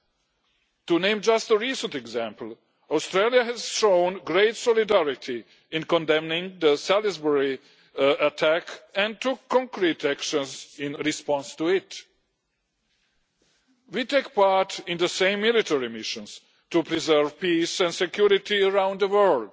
Just to name a recent example, Australia has shown great solidarity in condemning the Salisbury attack and took concrete actions in response to it. We take part in the same military missions to preserve peace and security around the world